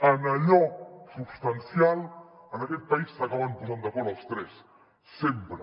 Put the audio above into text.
en allò substancial en aquest país s’acaben posant d’acord els tres sempre